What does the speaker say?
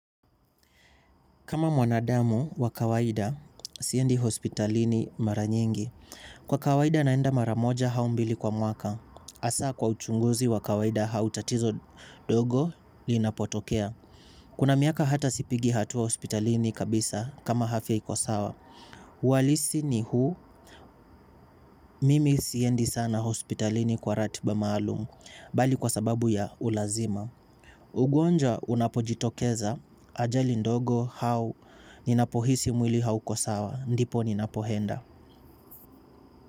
Kama mwanadamu wa kawaida, siendi hospitalini mara nyingi. Kwa kawaida naenda mara moja au mbili kwa mwaka. Hasa kwa uchunguzi wa kawaida au tatizo ndogo linapotokea. Kuna miaka hata sipigi hatua hospitalini kabisa kama afya iko sawa. Uhalisi ni huu, mimi siendi sana hospitalini kwa ratiba maalum, bali kwa sababu ya ulazimu. Ugonjwa unapojitokeza ajali ndogo au ninapohisi mwili hauko sawa ndipo ninapoenda.